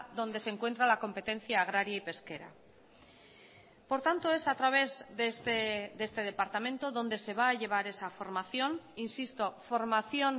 donde se encuentra la competencia agraria y pesquera por tanto es a través de este departamento donde se va a llevar esa formación insisto formación